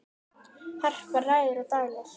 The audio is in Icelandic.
Harpa ræður og dælir.